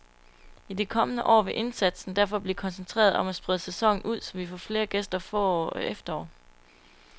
I de kommende år vil indsatsen derfor blive koncentreret om at sprede sæsonen ud, så vi får flere gæster forår og efterår.